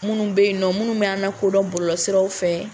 Minnu bɛ yen minnu bɛ an la kodɔn bɔlɔlɔsiraw fɛ.